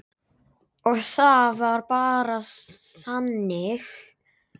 Og það var bara þannig.